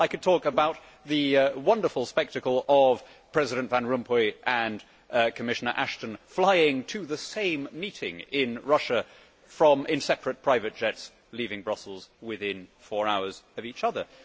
I could talk about the wonderful spectacle of President van Rompuy and Commissioner Ashton flying to the same meeting in Russia in separate private jets leaving Brussels within four hours of each other.